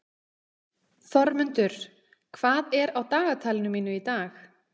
Þormundur, hvað er á dagatalinu mínu í dag?